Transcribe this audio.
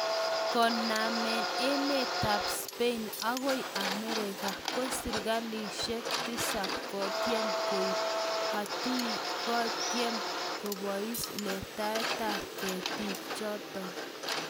Konamen emetab Spain agoi America ,ko serikalishek tisab kotyem koib hatuaitkotyem kobos letaetab ktik choton